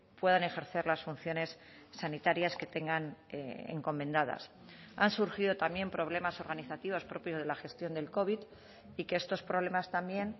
puedan ejercer las funciones sanitarias que tengan encomendadas han surgido también problemas organizativos propios de la gestión del covid y que estos problemas también